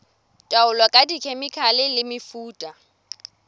taolo ka dikhemikhale le mefuta